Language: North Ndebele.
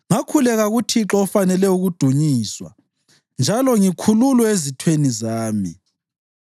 Ngakhuleka kuThixo ofanele ukudunyiswa, njalo ngikhululwe ezitheni zami.